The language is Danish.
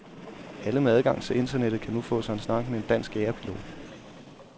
Alle med adgang til internettet kan nu få sig en snak med en dansk jagerpilot.